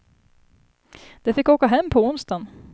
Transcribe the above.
De fick åka hem på onsdagen.